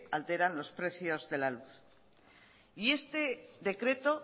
alteran los precios de la luz y este decreto